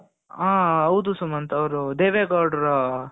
ಹ ಹೌದು ಸುಮಂತ ಅವರು ದೇವೇಗೌಡ್ರು